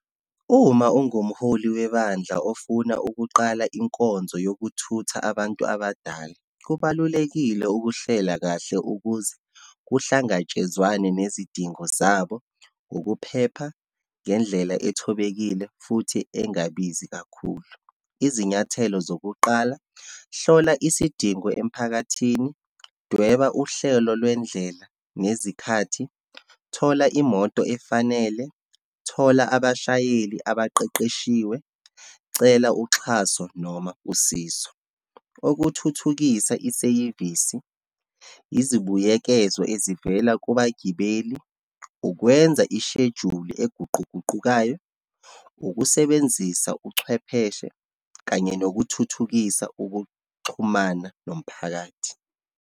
Uma ungumholi webandla ofuna ukuqala inkonzo yokuthutha abantu abadala. Kubalulekile ukuhlela kahle ukuze kuhlangatshezwane nezidingo zabo ngokuphepha, ngendlela ethobekile, futhi engabizi kakhulu. Izinyathelo zokuqala, hlola isidingo emphakathini, dweba uhlelo lwendlela nezikhathi, thola imoto efanele, thola abashayeli abaqeqeshiwe, cela uxhaso noma usizo. Okuthuthukisa iseyivisi, izibuyekezo ezivela kubagibeli, ukwenza ishejuli eguquguqukayo, ukusebenzisa uchwepheshe, kanye nokuthuthukisa ukuxhumana nomphakathi.